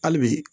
Hali bi